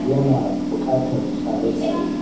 ya na buƙatar tsare-tsare.